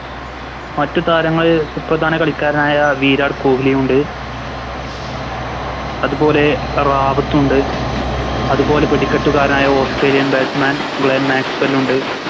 മറ്റു താരങ്ങളിൽ സുപ്രധാന കളിക്കാരനായ വിരാട്ട് കൊഹ്ലിയുണ്ട് അതുപോലെ റവത്തുണ്ട് അതുപോലെ വെടിക്കെട്ട് കാരനായ Australian batsman ഗ്ലെൻ മാക്‌സ്‌വെലുണ്ട്